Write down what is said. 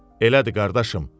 Elədir, qardaşım.